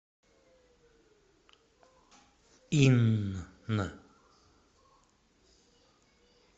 инн